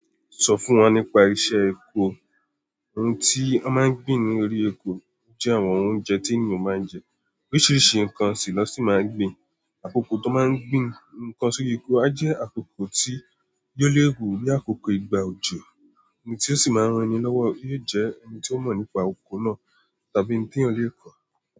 Sọ fún wọn nípa isẹ́ epo. Ohun tí wọ́n máa ń gbin ní orí oko jẹ́ àwọn oúnjẹ tí ènìyàn máa ń jẹ. Oríṣiríṣi nǹkan sì lo sì máa ń gbin. Àkókò tó máa ń gbin nǹkan sórí oko a jẹ́ àkókò tí yóò léwu bí àkókò ìgbà òjò. Ẹni tí ó sì máa ń ran ni lówó, yóò jẹ́ ẹni tí ó mọ̀ nípa oko náà tàbí ǹkan tí ènìyàn lè kọ̀